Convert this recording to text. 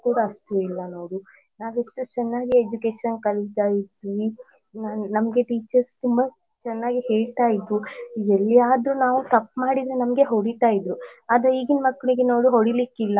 ಅಷ್ಟಿಲ್ಲ ನೋಡು ನಾವೆಷ್ಟು ಚೆನ್ನಾಗಿ education ಕಲಿತಾ ಇದ್ವಿ ನಾವ್ ನಮ್ಗೆ teachers ಕೂಡಾ ಚನ್ನಾಗಿ ಹೇಳ್ತಾ ಇದ್ರು ಎಲ್ಲಿಯಾದ್ರೂ ನಾವ್ ತಪ್ಪ್ ಮಾಡಿದ್ರೆ ನಮ್ಗೆ ಹೊಡಿತಾ ಇದ್ರೂ ಆದ್ರೆ ಈಗಿನ್ ಮಕ್ಲಿಗೆ ನೋಡು ಹೊಡಿಲಿಕ್ಕಿಲ್ಲ.